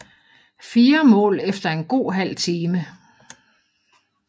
Fire mål efter en god halv time